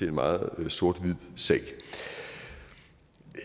en meget sort hvid sag